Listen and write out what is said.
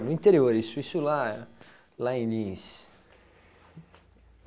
No interior, isso isso lá lá em Lins.